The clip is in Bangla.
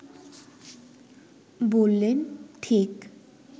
বললেন, ঠিক